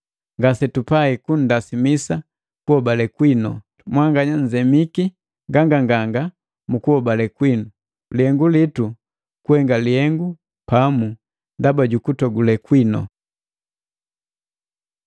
Ngasetupai kundasimisa kuhobale kwinu, mwanganya mnzemiki nganganganga mu kuhobale kwinu. Lihengu litu kuhenga lihengu pamu ndaba jukutogule kwinu.